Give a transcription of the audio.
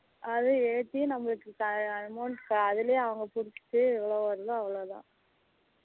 அது ஏத்தி நம்மளுக்கு amount அதுலே அவங்க பிடிச்சீட்டு எவளோ வருதோ அவளோதான்